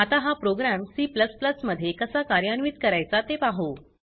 आता हा program C मध्ये कसा कार्यान्वित करायचा ते पाहु